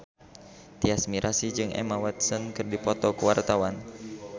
Tyas Mirasih jeung Emma Watson keur dipoto ku wartawan